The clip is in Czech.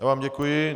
Já vám děkuji.